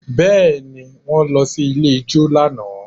Bẹ́ẹ̀ ni, wọ́n lọ ilé ijó lánàá